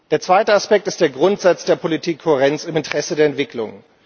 Der zweite Aspekt ist der Grundsatz der Politikkohärenz im Interesse der Entwicklung.